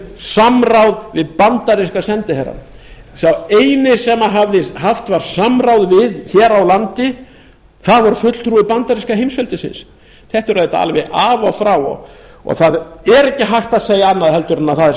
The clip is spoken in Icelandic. samráð við bandaríska sendiherrann sá eini sem haft var samráð við hér á landi var fulltrúi bandaríska heimsveldisins þetta er auðvitað alveg af og frá og það er ekki hægt að segja annað heldur en það er